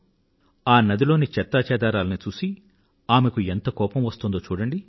ఆ నది లోని చెత్తాచెదారాన్ని చూసి ఆమెకు ఎంత కోపం వస్తోందో చూడండి